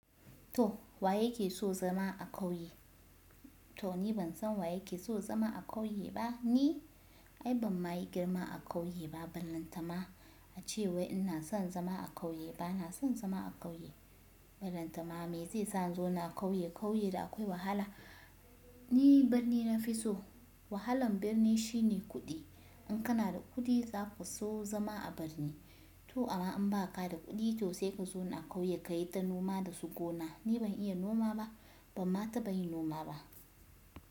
To wa yake so zama a ƙauye? To ni ban san wa yake so zama a ƙauye ba, ni ai ban ma yi girma a ƙauye ba. Ban lantana a ce wai ina son zama a ƙauye, ba na son zama a ƙauye. Ban lantama me zai sa in zo na ƙauye. Ƙauye da akwai wahala. Ni birni na fi so wahalan birni shine kuɗi. In kana da kuɗi za ku so zama a birni. To amma in ba ka da kuɗi to sai ka zo na ƙauye, ka yi ta noma da su gona. Ni ban iya noma ba, bamma ta ba yi noma ba.